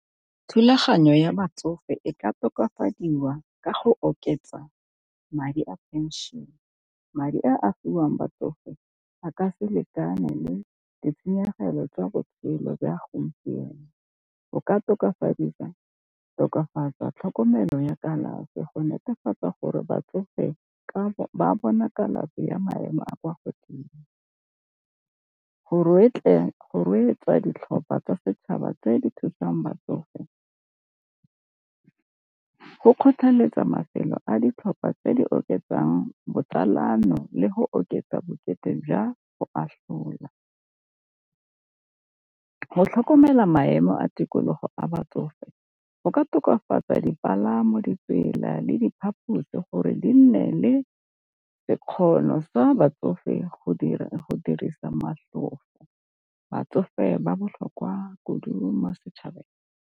Thulaganyo ya batsofe e ka tokafadiwa ka go oketsa madi a pension, madi a a fiwang batsofe a ka se lekane le ditshenyegelo tsa botshelo jwa gompieno. O ka tokafadisa tokafatsa tlhokomelo ya kalafi go netefatsa gore batsofe ba bona kalafi ya maemo a kwa godimo. Go ditlhopha tsa setšhaba tse di thusang batsofe, go kgotlheletsa mafelo a ditlhopha tse di oketsang botsalano le go oketsa bokete jwa go atlhola. Go tlhokomela maemo a tikologo a batsofe go ka tokafatsa dipalamo, ditsela, le diphaphusi gore di nne le sekgono sa batsofe go dira go dirisa motlhofo batsofe ba botlhokwa kudu mo setšhabeng.